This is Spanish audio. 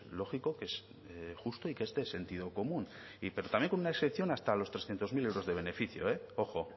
lógico que es el justo y que es de sentido común pero también con una excepción hasta los trescientos mil euros de beneficio eh ojo